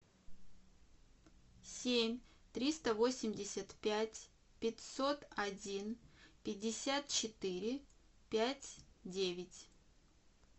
семь триста восемьдесят пять пятьсот один пятьдесят четыре пять девять